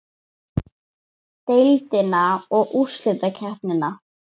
Deildina og úrslitakeppnina?